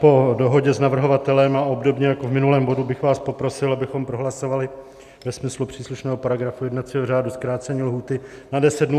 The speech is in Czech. Po dohodě s navrhovatelem a obdobně jako v minulém bodě bych vás poprosil, abychom prohlasovali ve smyslu příslušného paragrafu jednacího řádu zkrácení lhůty na deset dnů.